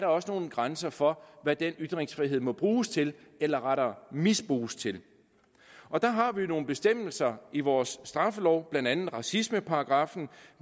også nogle grænser for hvad den ytringsfrihed må bruges til eller rettere misbruges til og der har vi jo nogle bestemmelser i vores straffelov blandt andet racismeparagraffen